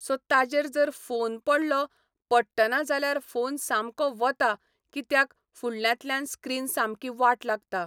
so ताजेर जर phone पडलो पडटना जाल्यार फोन सामको वता कित्याक फुडल्यांतल्यान स्क्रिन सामकी वाट लागता